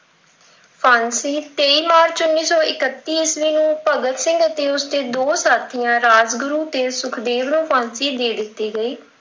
ਫ਼ਾਂਸੀ ਤੇਈਂ ਮਾਰਚ ਉੱਨੀ ਸੌ ਇੱਕਤੀ ਈਸਵੀ ਨੂੰ ਭਗਤ ਸਿੰਘ ਤੇ ਉਸ ਦੇ ਦੋ ਸਾਥੀਆਂ ਨੂੰ ਰਾਜਗੁਰੂ ਤੇ ਸੁਖਦੇਵ ਨੂੰ ਫ਼ਾਂਸੀ ਦੇ ਦਿੱਤੀ ਗਈ।